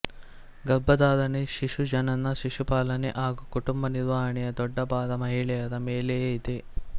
ಗರ್ಭಧಾರಣೆ ಶಿಶುಜನನ ಶಿಶು ಪಾಲನೆ ಹಾಗೂ ಕುಟುಂಬ ನಿರ್ವಹಣೆಯ ದೊಡ್ದಭಾರ ಮಹಿಳೆಯರ ಮೇಲೆಯೇ ಇದೆ